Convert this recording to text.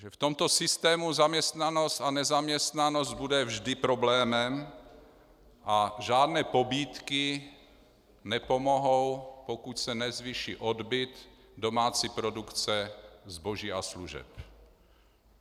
Že v tomto systému zaměstnanost a nezaměstnanost bude vždy problémem a žádné pobídky nepomohou, pokud se nezvýší odbyt domácí produkce zboží a služeb.